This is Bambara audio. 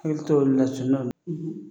Ili to olu la sunnaw na